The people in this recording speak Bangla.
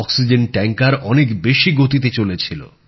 অক্সিজেন ট্যাঙ্কার অনেক বেশি গতিতে চলেছিল